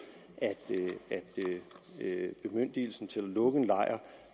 at bemyndigelsen til at lukke en lejr